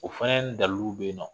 O fana daliluw bɛ yen nɔ